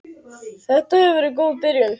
Þetta hefur verið góð byrjun.